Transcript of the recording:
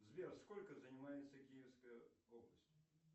сбер сколько занимается киевская область